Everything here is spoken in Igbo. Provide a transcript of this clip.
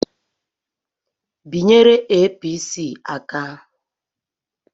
Binyere Apc aka!